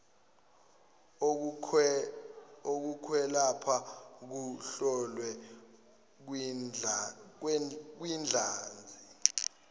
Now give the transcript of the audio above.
okokwelapha kuhlolwe kwidlanzi